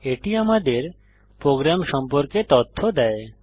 এটি আমাদের প্রোগ্রাম সম্পর্কে তথ্য দেয়